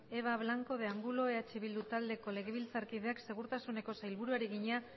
eva blanco de angulo eh bildu taldeko legebiltzarkideak segurtasuneko sailburuari egina